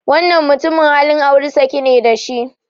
Wannan mutumin halin aure sake ne da shi.